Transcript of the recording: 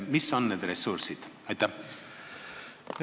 Mis on need ressursid?